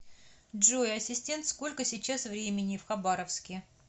джой ассистент сколько сейчас времени в хабаровске